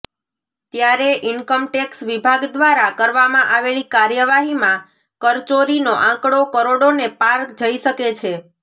ત્યારે ઇન્કમટેક્ષ વિભાગ દ્વારા કરવામાં આવેલી કાર્યવાહીમાં કરચોરીનો આંકડો કરોડોને પાર જઈ શકે છે